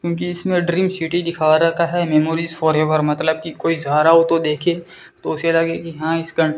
क्योंकि इसमें dream city दिखा रखा है मेमोरीज फॉरएवर मतलब की कोई सहारा हो तो देखिए उसे लगे कि हा इसका --